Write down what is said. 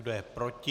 Kdo je proti?